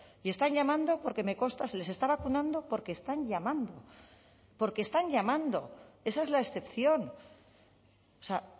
y están llamando porque me consta se les está vacunando porque están llamando porque están llamando esa es la excepción o sea